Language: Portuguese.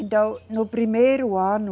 Então, no primeiro ano,